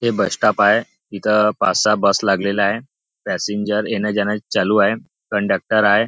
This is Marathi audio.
हे बस स्टॉप आहे इथं पाच सहा बस लागलेले आहे पॅसेंजर येणं जाणं चालू आहे कंडक्टर आहे.